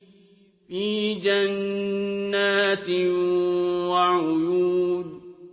فِي جَنَّاتٍ وَعُيُونٍ